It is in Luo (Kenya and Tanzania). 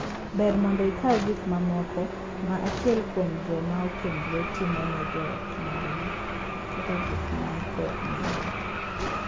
Ber mondo ikaw gik mamoko ma achiel kuom joma okendore timone joot mangima kaka gik man kod nengo.